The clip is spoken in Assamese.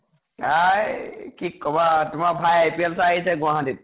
আই কি কʼবা । তোমাৰ ভাই এতিয়া IPL চাই আহিছে গুৱাহাটীত